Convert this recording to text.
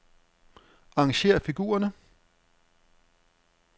Arrangér figurerne.